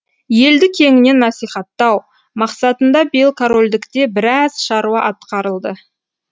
елді кеңінен насихаттау мақсатында биыл корольдікте біраз шаруа атқарылды